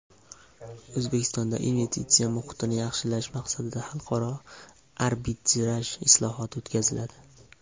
O‘zbekistonda investitsiya muhitini yaxshilash maqsadida xalqaro arbitraj islohoti o‘tkaziladi.